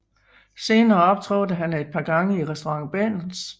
Senere optrådte han et par gange i restauranten Berns